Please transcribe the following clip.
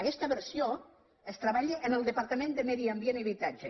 aquesta versió es treballa en el departament de medi ambient i habitatge